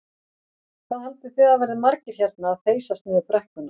Hvað haldið þið að verði margir hérna að þeysast niður brekkuna?